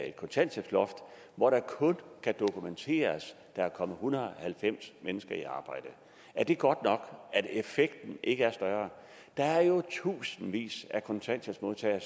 et kontanthjælpsloft og hvor det kun kan dokumenteres at der er kommet hundrede og halvfems mennesker i arbejde er det godt nok at effekten ikke er større der er jo i tusindvis af kontanthjælpsmodtagere